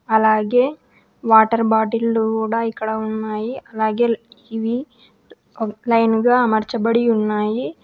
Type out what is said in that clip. అలాగే వాటర్ బాటిల్లు కూడా ఇక్కడ ఉన్నాయి. అలాగే ఇవి ఒక లైన్ గా అమర్చబడి ఉన్నాయి.